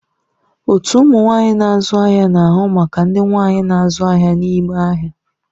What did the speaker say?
Otu ụmụ nwanyị na-azụ ahịa na-ahụ maka ndị nwanyi na-azụ ahịa n'ime ahịa.